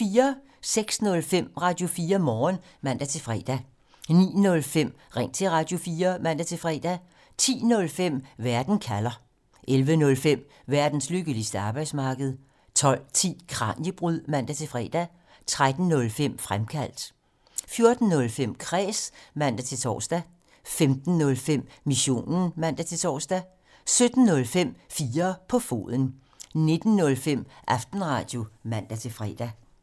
06:05: Radio4 Morgen (man-fre) 09:05: Ring til Radio4 (man-fre) 10:05: Verden kalder (man) 11:05: Verdens lykkeligste arbejdsmarked (man) 12:10: Kraniebrud (man-fre) 13:05: Fremkaldt (man) 14:05: Kræs (man-tor) 15:05: Missionen (man-tor) 17:05: 4 på foden (man) 19:05: Aftenradio (man-fre)